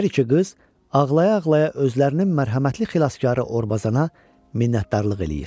Hər iki qız ağlaya-ağlaya özlərinin mərhəmətli xilaskarı Orbazana minnətdarlıq eləyir.